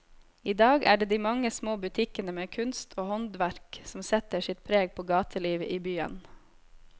I dag er det de mange små butikkene med kunst og håndverk som setter sitt preg på gatelivet i byen.